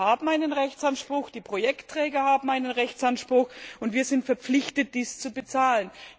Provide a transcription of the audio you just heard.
Die Länder haben einen Rechtsanspruch, die Projektträger haben einen Rechtsanspruch, und wir sind verpflichtet, dies zu bezahlen.